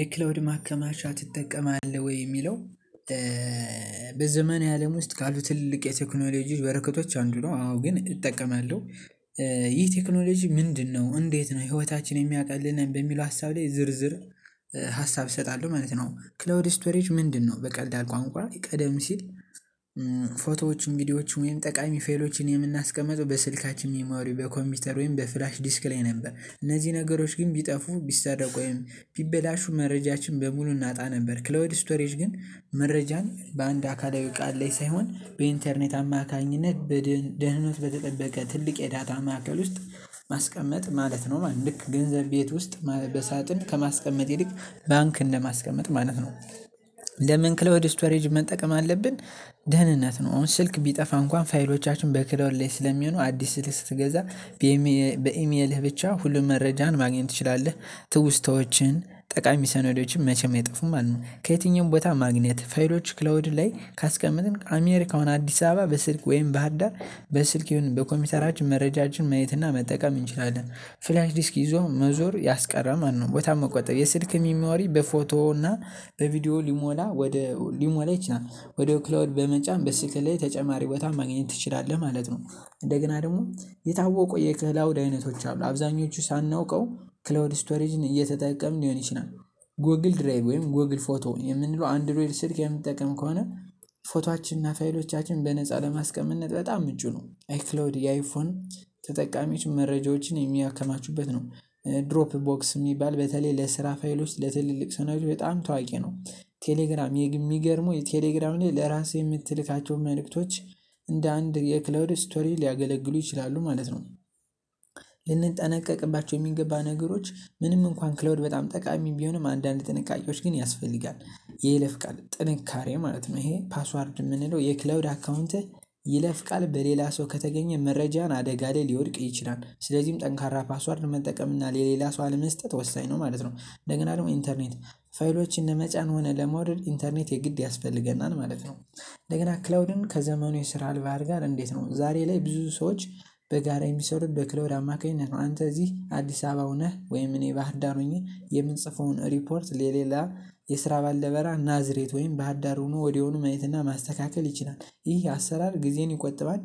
የክላውድ ማከማቻ ትጠቀማለህ ወይ የሚለው? በዘመናዊ አለም ውስጥ ካሉ ትልልቅ የቴክኖሎጂ በረከቶች አንዱ ነው አዎ ግን እጠቀማለሁ። ይህ ቴክኖሎጂ ምንድነው? እንዴት ነው ህይወታችን የሚያቀልልን በሚለው ሀሳብ ላይ ዝርዝር ሀሳብ እሰጣለሁ ማለት ነው። ክላውድ ስቶሬጅ ምንድንነው? በቀላል ቋንቋ ቀደም ሲል ቪድዮዎች ወይም ጠቃሚ ፋይሎችን የምናስቀምጠው በስልካችን ሚሞሪ በኮምፒውተር ወይም በፍላሽ ዲስክ ላይ ነበር። እነዚህ ነገሮች ግን ቢጠፉ ቢሰረቁ ወይም ቢበላሹ መረጃችን በሙሉ እናጣ ነበር። ክላውድ ስቶሬጅ ግን መረጃን በአንድ አካላዊ እቃ ላይ ሳይሆን በኢንተርኔት አማካኝነት። ደህንነቱ በተጠበቀ ትልቅ የዳታ ማዕከል ውስጥ ማስቀመጥ ማለት ነው። ማለት ግን ልክ ገንዘብ ቤት ውስጥ በሳጥን ከማስቀመጥ ይልቅ ባንክ እንደማስቀመጥ ማለት ነው። ለምን ክላውድ ስቶሬጅ መጠቀም አለብን? ደህንነት ነው አሁን ስልክ ቢጠፋ እንኳን ፋይሎቻችን በክላውድ ላይ ስለሚሆኑ አዲስ ስልክ ስትገዛ በኢሜልህ ብቻ ሁሉም መረጃህን ማግኘት ትችላለህ። ትውስታዎችህን ጠቃሚ ሰነዶችን መቼም አይጠፉም ማለት ነው። ከየትኛውም ቦታ ማግኘት ፋይሎች ክላውድ ላይ ካስቀመጥን አሜሪካ ሆነ አዲስ አበባ በስልክ ወይም ባህርዳር በስልክ ይሁን በኮምፒውተራችን መረጃችን ማየት እና መጠቀም እንችላለን። ፍላሽ ዲስክ ይዞ መዞር ያስቀራል ማለት ነው። ቦታን መቆጠብ የስልክ ሚሞሪ በፎቶ እና በቪዲዮ ሊሞላ ወደ ሊሞላ ይችላል ወደ ክላውድ በመጫን በስልክ ላይ ተጨማሪ ቦታ ማግኘት ትችላለህ ማለት ነው። እንደገና ደግሞ የታወቁ የክላውድ አይነቶች አሉ አብዛኞቹ ሳናውቀው ክላውድ ስቶሬጅን እየተጠቀምን ሊሆን ይችላል። ጎግል ድራይቭ ወይም ጎግል ፎቶ የምንለው አንድሮይድ ስልክ የምንጠቀም ከሆነ ፎቶአችን እና ፋይሎቻችን በነፃ ለማስቀመጥ በጣም ምቹ ነው። አይክላውድ የአይፎን ተጠቃሚዎች መረጃዎችን የሚያከማቹበት ነው። ድሮፕ ቦክስ የሚባል በተለይ ለስራ ፋይሎች ለትልልቅ ሰነዶች በጣም ታዋቂ ነው። ቴሌግራም የሚገርመው የቴሌግራም ላይ ለራስህ የምትልካቸው መልእክቶች እንደ አንድ የክላውድ ስቶሬጅ ሊያገለግሉ ይችላሉ ማለት ነው። ልንጠነቀቅባቸው የሚገባ ነገሮች ምንም እንኳን ክላውድ በጣም ጠቃሚ ቢሆንም አንዳንድ ጥንቃቄዎች ግን ያስፈልጋል። የይለፍ ቃል ጥንካሬ ማለት ነው። ይሄ ፓስዋርድ የምንለው የክላውድ አካውንትህ ይለፍ ቃል በሌላ ሰው ከተገኘ መረጃህን አደጋ ላይ ሊወድቅ ይችላል ስለዚህም ጠንካራ ፓስዋርድ መጠቀም እና ለሌላ ሰው አለመስጠት ወሳኝ ነው ማለት ነው። እንደገና ደግሞ ኢንተርኔት ፋይሎች ለመጫን ሆነ ለማውረድ ኢንተርኔት የግድ ያስፈልገናል ማለት ነው። እንደገና ክላውድን ከዘመኑ የስራ ባህል ጋር እንዴት ነው? ዛሬ ላይ ብዙ ሰዎች በጋራ የሚሰሩት በክላውድ አማካኝነት ነው። አንተ እዚህ አዲስ አበባ ሁነህ ወይም እኔ ባህርዳር ሆኜ የምንጽፈውን ሪፖርት ለሌላ የስራ ባልደረባ ናዝሬት ወይም ባህር ዳር ሆኖ ወዲያውኑ ማየት እና ማስተካከል ይችላል ይህ አሰራር ጊዜን ይቆጥባል።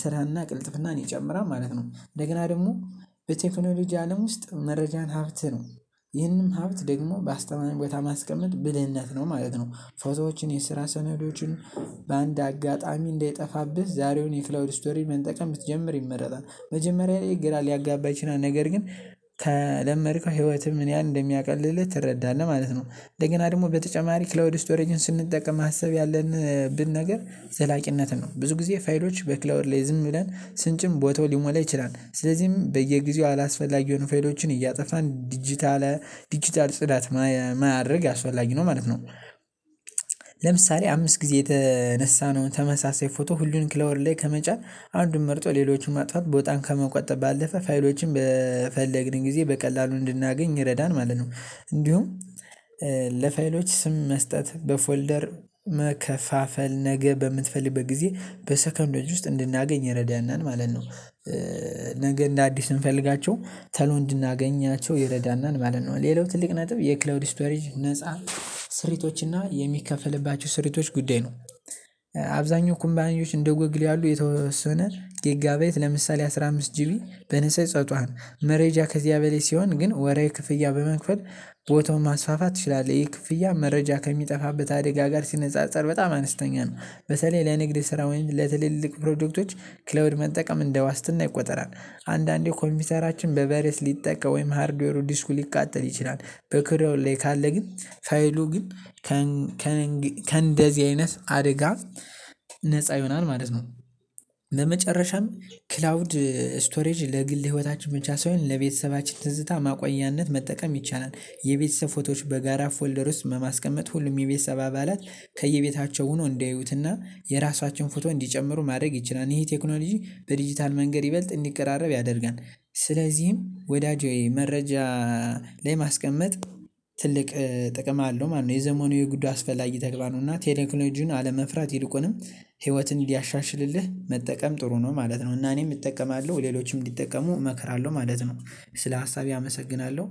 ስራ እና ቅልጥፍናን ይጨምራል ማለት ነው። እንደገና ደግሞ በቴክኖሎጂ አለም ውስጥ መረጃን ሀብት ነው ይህንን ሀብት ደግሞ በአስተማማኝ ቦታ ማስቀመጥ ብልህነት ነው ማለት ነው። ፎቶዎችን የስራ ሰነዶችን በአንድ አጋጣሚ እንዳይጠፋብህ ዛሬውኑ የክላውድ ስቶሬጅ መጠቀም ብትጀምር ይመረጣል። መጀመሪያ ላይ ግራ ሊያጋባ ይችላል ነገር ግን ከለመድከው ህይወትህ ምን ያህል እንደሚያቀልልህ ትረዳለህ ማለት ነው። እንደገና ደግሞ በተጨማሪ ክላውድ ስቶሬጅን ስንጠቀም ማሰብ ያለብን ነገር ዘላቂነትን ነው። ብዙ ጊዜ ፋይሎች በክላውድ ላይ ዝም ብለን ስንጭን ቦታው ሊሞላ ይችላል ስለዚህም በየጊዜው አላስፈላጊ የሆኑ ፋይሎችን እያጠፋን ዲጂታል ዲጂታል ጽዳት ማድረግ አስፈላጊ ነው ማለት ነው። ለምሳሌ አምስት ጊዜ የተነሳነውን ተመሳሳይ ፎቶ ሁሉን ክላውድ ላይ ከመጫን አንዱን መርጦ ሌሎቹን ማጥፋት ቦታን ከመቆጠብ ባለፈ ፋይሎችን በፈለግን ጊዜ በቀላሉ እንድናገኝ ይረዳል ማለት ነው። እንዲሁም ለፋይሎች ስም መስጠት በፎልደር መከፋፈል ነገ በምትፈልግበት ጊዜ በሰከንዶች ውስጥ እንድናገኝ ይረዳናል ማለት ነው። ነገ እንደ አዲስ ስንፈልጋቸው ቶሎ እንድናገኛቸው ይረዳናል ማለት ነው። ሌላው ትልቅ ነጥብ የክላውድ ስቶሬጅ ነፃ ስሪቶች እና የሚከፈልባቸው ስሪቶች ጉዳይ ነው። አብዛኛው ካምፓኒዎች እንደ ጎግል ያሉ የተወሰነ ጌጋ ባይት ለምሳሌ አስራ አምስት ጂቢ በነፃ ይሰጡሃል። መረጃ ከዚያ በላይ ሲሆን ግን ወርሃዊ ክፍያ በመክፈል ቦታውን ማስፋፋት ትችላለህ። ይሄ ክፍያ መረጃ ከሚጠፋበት አደጋ ጋር ሲነጻጸር በጣም አነስተኛ ነው። በተለይ ለንግድ ስራ ወይም ለትልልቅ ፕሮጀክቶች ክላውድ መጠቀም እንደ ዋስትና ይቆጠራል። አንዳንዴ ኮምፒውተራችን በቫይረስ ሊጠቃ ወይም ሀርድዌሩ ዲስኩ ሊቃጠል ይችላል። በክላውድ ላይ ካለ ግን ፋይሉ ግን ከእንደዚህ አይነት አደጋ ነፃ ይሆናል ማለት ነው። በመጨረሻም ክላውድ ስቶሬጅ ለግል ህይወታችን ብቻ ሳይሆን ለቤተሰባችን ትዝታ ማቆያነት መጠቀም ይቻላል። የቤተሰብ ፎቶዎች በጋራ ፎልደር ውስጥ በማስቀመጥ ሁሉም የቤተሰብ አባላት ከየቤታቸው ሆነው እንዲያዩት እና የራሳቸውን ፎቶ እንዲጨምሩ ማድረግ ይችላል። ይሄ ቴክኖሎጂ በዲጂታል መንገድ ይበልጥ እንዲቀራረብ ያደርጋል። ስለዚህም ወዳጄ መረጃ ላይ ማስቀመጥ ትልቅ ጥቅም አለው ማለት ነው። የዘመኑ የግድ አስፈላጊ ተግባር ነው። እና ቴክኖሊጂውን አለመፍራት ይልቁንም ህይወትን እንዲያሻሽልልህ መጠቀም ጥሩ ነው ማለት ነው። እና እኔም እጠቀማለሁ ሌሎችም እንዲጠቀሙ እመክራለሁ ማለት ነው። ስለ ሀሳቤ አመሰግናለሁ